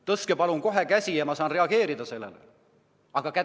Tõstke palun kohe käsi, ma saan siis sellele reageerida.